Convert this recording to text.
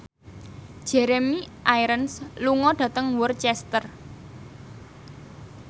Jeremy Irons lunga dhateng Worcester